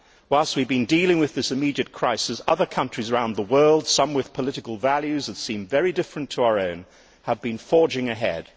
Whilst we have been dealing with this immediate crisis, other countries around the world some with political values that seem very different to our own have been forging ahead.